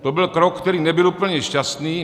To byl krok, který nebyl úplně šťastný.